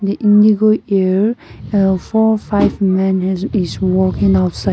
indigo air a four five men has is walking outside.